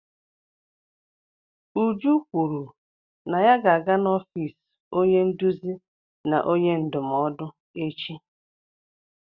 Uju kwuru na ya ga-aga n'ọfiisi onye nduzi na onye ndụmọdụ echi.